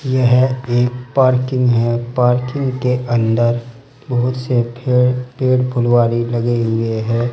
यह एक पार्किंग है पार्किंग के अंदर बहुत से खे पेड़ फुलवारी लगे हुए है।